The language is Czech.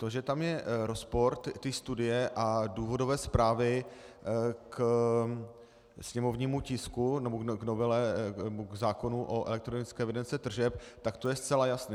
To, že tam je rozpor té studie a důvodové zprávy k sněmovnímu tisku nebo k novele nebo k zákonu o elektronické evidenci tržeb, tak to je zcela jasné.